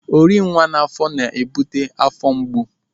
Orinwa n'afọ na-ebute afọ mgbu.